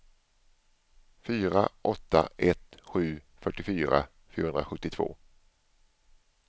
fyra åtta ett sju fyrtiofyra fyrahundrasjuttiotvå